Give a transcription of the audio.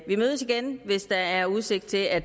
mødes igen hvis der er udsigt til at